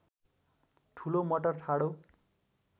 ठूलो मटर ठाडो